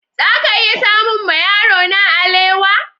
Za ka iya samun ma yarona alewa?